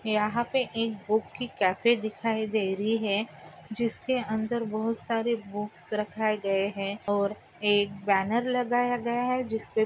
यहाँ पे एक बुक की कॅफे दिखाई दे रही है। जिसके अंदर बहुत सारे बुक्स रखाए गए है। और एक बैनर लगाया गया है। जिसपे--